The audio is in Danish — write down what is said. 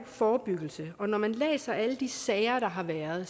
forebyggelse og når man læser alle de sager der har været